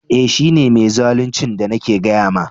Eh, shi ne mai zaluncin da nake gaya ma.